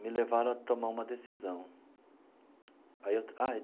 me levaram a tomar uma decisão aí eu.